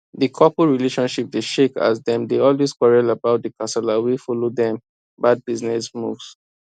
di couple relationship dey shake as dem dey always quarrel about the kasala wey follow dem bad business moves